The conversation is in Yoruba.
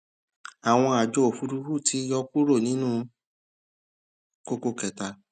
àwọn àjọ òfúrufú ti yá kúrò nínú kókó pàtàkì